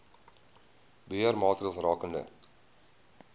beheer maatreëls rakende